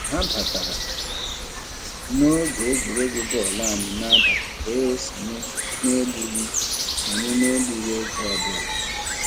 Ha batara n'oge egwuregwu bọọlụ anyị n'abalị wee sonye n'egbughị sonye n'egbughị oge ọbụla.